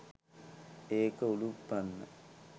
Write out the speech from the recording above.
ඒක උළුප්පන්න